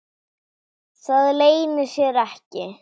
Það leynir sér ekki.